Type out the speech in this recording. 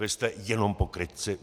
Vy jste jenom pokrytci.